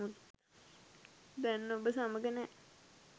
දැන් ඔබ සමඟ නෑ